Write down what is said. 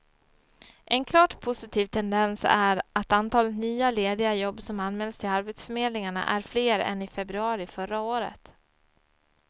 En klart positiv tendens är att antalet nya, lediga jobb som anmäls till arbetsförmedlingarna är fler än i februari förra året.